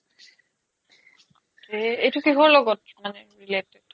এ এইটো কিহৰ লগত মানে related হয় ?